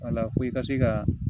Wala ko i ka se ka